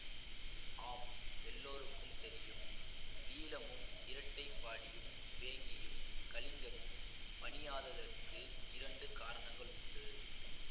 ஆம் எல்லோருக்கும் தெரியும் ஈழமும் இரட்டைப்பாடியும் வேங்கியும் கலிங்கமும் பணியாததற்கு இரண்டு காரணங்கள் உண்டு